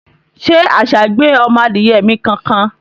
shey àṣà gbé ọmọ Adiye mi kankan?